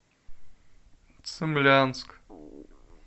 цимлянск